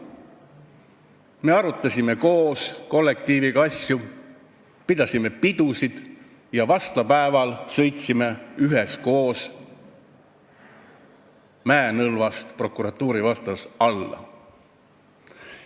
Me arutasime koos asju, pidasime pidusid ja vastlapäeval sõitsime üheskoos prokuratuuri vastas asuvast mäenõlvast alla.